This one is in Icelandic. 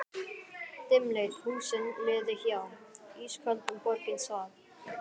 Dimmleit húsin liðu hjá, ísköld borgin svaf.